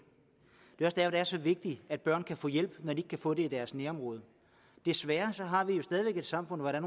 er så vigtigt at børn kan få hjælp når de ikke kan få det i deres nærområde desværre har vi jo stadig væk et samfund hvor der